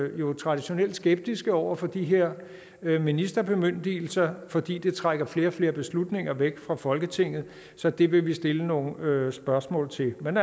jo traditionelt skeptiske over for de her ministerbemyndigelser fordi det trækker flere og flere beslutninger væk fra folketinget så det vil vi stille nogle spørgsmål til men